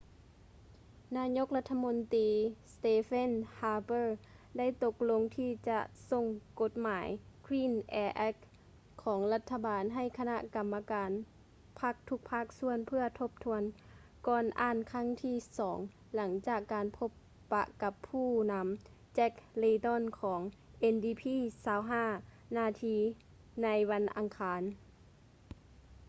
ນາຍົກລັດຖະມົນຕີ stephen harper ໄດ້ຕົກລົງທີ່ຈະສົ່ງກົດໝາຍ clean air act ຂອງລັດຖະບານໃຫ້ຄະນະກໍາມະການພັກທຸກພາກສ່ວນເພື່ອທົບທວນກ່ອນອ່ານຄັ້ງທີສອງຫຼັງຈາກການພົບປະກັບຜູ້ນຳ jack layton ຂອງ ndp 25 ນາທີໃນວັນອັງຄານ